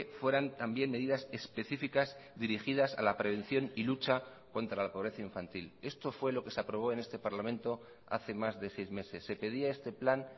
fueran también medidas específicas dirigidas a la prevención y lucha contra la pobreza infantil esto fue lo que se aprobó en este parlamento hace más de seis meses se pedía este plan